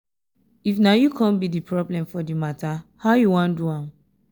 if na yu con be d problem for di mata how you wan do am